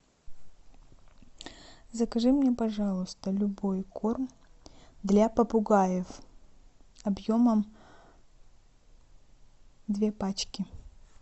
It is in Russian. закажи мне пожалуйста любой корм для попугаев объемом две пачки